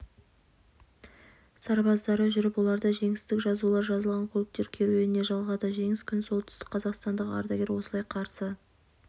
сарбаздары жүріп оларды жеңістің жазулары жазылған көліктер керуіне жалғады жеңіс күнін солтүстікқазақстандық ардагер осылай қарсы